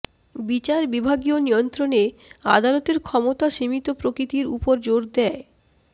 বিচারবিভাগীয় নিয়ন্ত্রণে আদালতের ক্ষমতা সীমিত প্রকৃতির উপর জোর দেয়